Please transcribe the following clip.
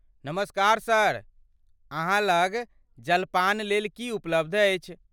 नमस्कार सर, अहाँ लग जलपानलेल की उपलब्ध अछि?